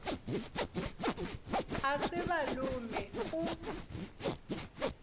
a se ba lome go